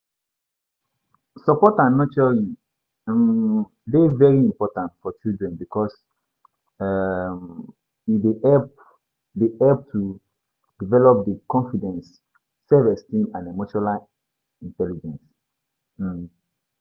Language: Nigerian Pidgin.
Support and nurturing um dey very important for children because um e dey help dey help to develop di confidence, self-esteem and emotional intelligence. um